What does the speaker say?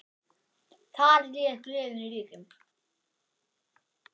Þar réð gleðin ríkjum.